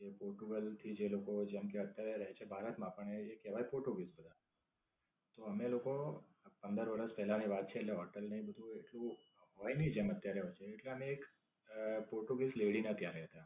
તે Portugal થી જે લોકો જેમકે અત્યારે રહે છે ભારત માં પણ એ કહેવાય પોર્ટુગીઝ અમે લોકો આ પંદર વરસ પેલા ની વાત છે એટલે હોટેલ ને એ બધું એટલું હોય ની જેમ અત્યારે છે. એટલે અમે એક The Portuguese Lady ને ત્યાં ગયા હતા.